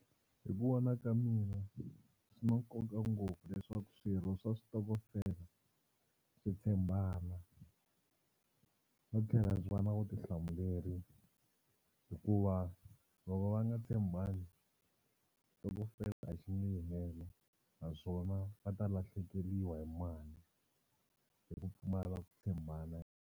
Hi ku vona ka mina swi na nkoka ngopfu leswaku swirho swa switokofela swi tshembana no tlhela swi va na vutihlamuleri hikuva loko va nga tshembani xitokofela a xi nge yi helo naswona va ta lahlekeriwa hi mali hi ku pfumala ku tshembana.